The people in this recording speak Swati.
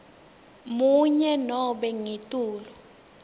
munye nobe ngetulu